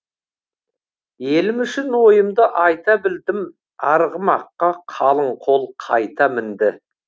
елім үшін ойымды айта білдім арғымаққа қалың қол қайта мінді